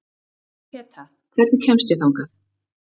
Peta, hvernig kemst ég þangað?